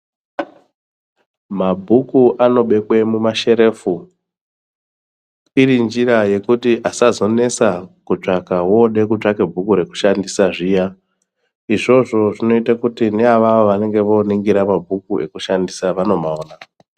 Mabhuku anobhekwe mumasherefu irinjira yekuti asazonesa kutsvaka wode kutsvake bhuku rekushandisa zviya izvozvo zvinoite kuti neavavo vanenge voningira mabhuku ekushandisa vanomaona.